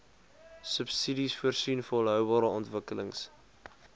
subsidiesvoorsien volhoubare ontwikkelings